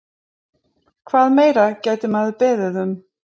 Hvað meira gæti maður beðið um?